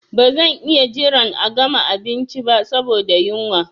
Ba zan iya jiran a gama abinci ba saboda yunwa.